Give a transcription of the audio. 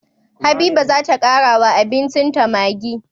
Habiba zata kara wa abincin ta maggi